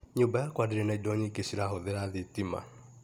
Nymba yakwa ndĩrĩ na indo nyingĩ cirahũthĩra thitima.